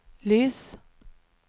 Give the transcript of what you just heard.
lys